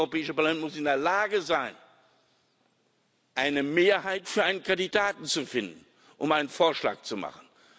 Und dieses Europäische Parlament muss in der Lage sein, eine Mehrheit für einen Kandidaten zu finden, um einen Vorschlag zu machen.